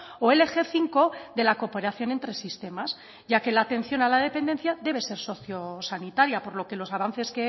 o el eje cinco de la cooperación entre sistemas ya que la atención a la dependencia debe ser socio sanitaria por lo que los avances